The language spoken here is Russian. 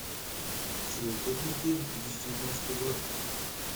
чудо техники две тысячи девятнадцатый год